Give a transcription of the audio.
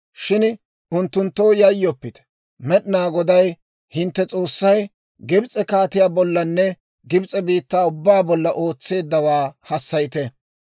Shin unttunttoo yayyoppite. Med'inaa Goday, hintte S'oossay, Gibs'e kaatiyaa bollanne Gibs'e biittaa ubbaa bolla ootseeddawaa hassayite.